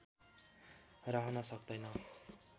रहन सक्दैन